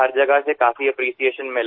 हर जगह से काफी एप्रिशिएशन मिला